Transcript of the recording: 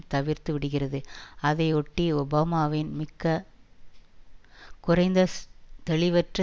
தவிர்த்து விடுகிறது அதையொட்டி ஒபாமாவின் மிக்க குறைந்த தெளிவற்ற